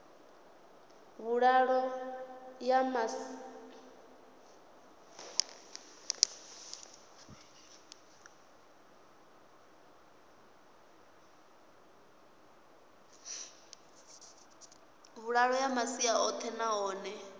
vhuḓalo ya masia oṱhe nahone